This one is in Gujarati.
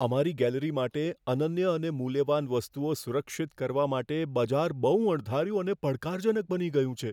અમારી ગેલેરી માટે અનન્ય અને મૂલ્યવાન વસ્તુઓ સુરક્ષિત કરવા માટે બજાર બહું અણધાર્યું અને પડકારજનક બની ગયું છે.